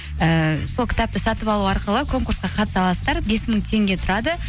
ііі сол кітапты сатып алу арқылы конкурсқа қатыса аласыздар бес мың теңге тұрады